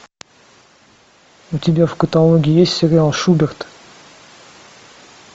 у тебя в каталоге есть сериал шуберт